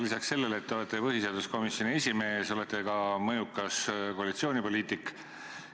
Lisaks sellele, et te olete põhiseaduskomisjoni esimees, olete ka mõjukas koalitsioonipoliitik.